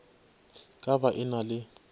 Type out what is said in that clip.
ka ba e na le